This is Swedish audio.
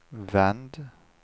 vänd